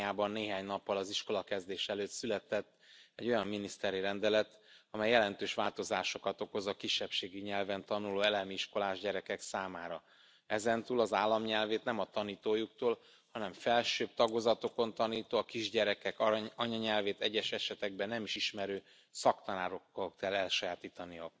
Romániában néhány nappal az iskolakezdés előtt született egy olyan miniszteri rendelet, amely jelentős változásokat okoz a kisebbségi nyelven tanuló elemi iskolás gyerekek számára ezentúl az állam nyelvét nem a tanítójuktól, hanem felsőbb tagozatokon tanító, a kisgyerekek anyanyelvét egyes esetekben nem is ismerő szaktanároktól kell elsajátítaniuk.